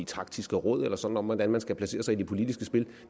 taktiske råd eller sådan noget om hvordan man skal placere sig i det politiske spil